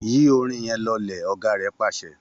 Yí orin yẹn lọlẹ̀!, ọ̀gá rẹ̀ pàṣẹ